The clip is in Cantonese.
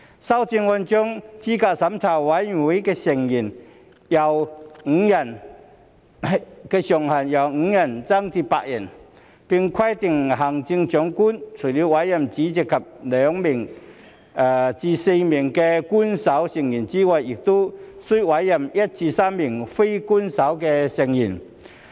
修正案將資審會成員人數上限由5人增至8人，並規定行政長官除了委任主席及2名至4名官守成員外，亦須委任1名至3名非官守成員。